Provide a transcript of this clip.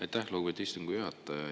Aitäh, lugupeetud istungi juhataja!